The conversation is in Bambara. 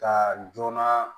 Ka joona